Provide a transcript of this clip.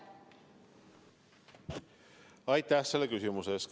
Aitäh selle küsimuse eest!